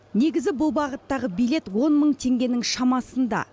негізі бұл бағыттағы билет он мың теңгенің шамасында